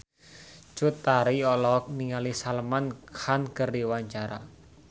Cut Tari olohok ningali Salman Khan keur diwawancara